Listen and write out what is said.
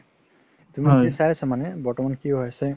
মানে বৰ্তমান কি হয় আছে